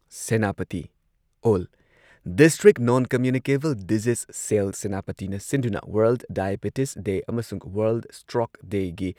Senapati all district non communicable disease cell, ꯁꯦꯅꯥꯄꯇꯤꯅ ꯁꯤꯟꯗꯨꯅ world diabetes day, ꯑꯃꯁꯨꯡ ꯋꯥꯔꯜꯗ ꯁꯇ꯭ꯔꯣꯛ ꯗꯦꯒꯤ